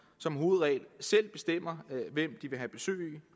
som hovedregel selv bestemmer hvem de vil have besøg